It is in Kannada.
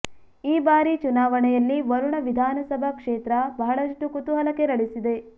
ಈ ಬಾರಿ ಚುನಾವಣೆಯಲ್ಲಿ ವರುಣ ವಿಧಾನಸಭಾ ಕ್ಷೇತ್ರ ಬಹಳಷ್ಟು ಕುತೂಹಲ ಕೆರಳಿಸಿದೆ